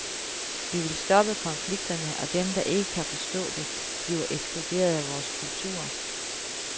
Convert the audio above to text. Vi vil stoppe konflikterne, og dem, der ikke kan forstå det, bliver ekskluderet af vores kultur.